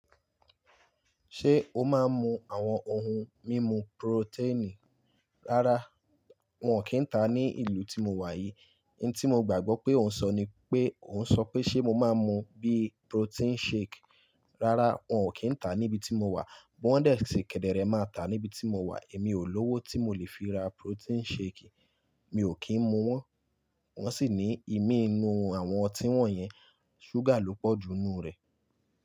Ṣé o máa ń mu àwọn ohun mímu protein? Rárá, wọn ò kí ń ta ní ìlú tí mo wà yìí. N tí mo gbàgbọ́ pé òun sọ ni pé, òun sọ pé ṣe mo máa ń mu bí protein shake. Rárá, wọn ò kí ń ta níbi tí mo wà. Bi wọn dẹ si kẹdẹrẹ máa tá níbi tí mo wà, èmi ò lówó tí mo lè fi ra protein shake. Mi ò kí ń mu wọ́n. Wọ́n sì ní ìmí inú àwọn ọtí wọ̀nyẹn, ṣúgà ló pọ̀ ju nnú rẹ̀.